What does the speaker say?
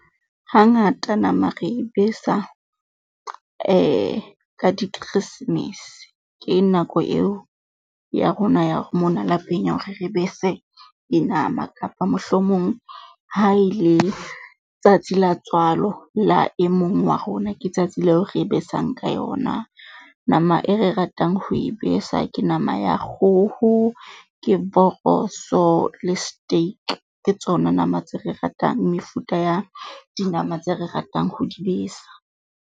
Hangata nama re e besa ka dikeresemese. Ke nako eo ya rona ya mona lapeng ya hore re bese dinama, kapa mohlomong ha e le tsatsi la tswalo la e mong wa rona ke tsatsi leo re besang ka yona. Nama e re ratang ho e besa, ke nama ya kgoho, ke voroso le steak. Ke tsona nama tse re ratang mefuta ya dinama tse re ratang ho di besa.